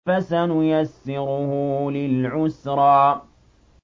فَسَنُيَسِّرُهُ لِلْعُسْرَىٰ